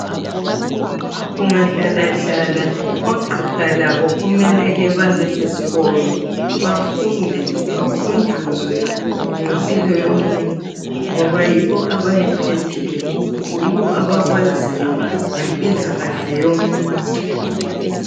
Kungahlala hlala ogqiha labo kumele kebebesesikolo bafunde bakhunjuzwe ngempilo yomuntu ngoba yibo abayiphetheyo yibo abakwaziyo ngempilakahle yomuntu